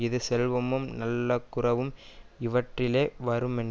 இது செல்வமும் நல்லகுரவும் இவற்றாலே வருமென்